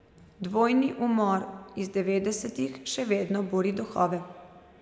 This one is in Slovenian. Dvojni umor iz devetdesetih še vedno buri duhove.